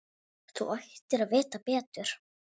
Þú ættir að vita betur!